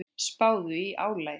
Spáðu í álagið.